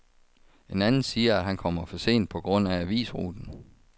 En anden siger, at han kommer for sent på grund af avisruten.